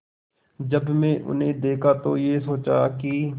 जब मैंने उन्हें देखा तो ये सोचा कि